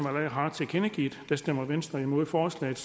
har tilkendegivet stemmer venstre imod forslaget